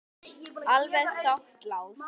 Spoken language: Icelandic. Alveg satt, Lási.